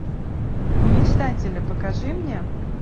мечтатели покажи мне